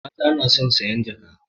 Mata na son sayan jaka